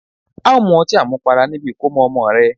A o mu ọti àmupara nibi ìkómọ ọmọ rẹ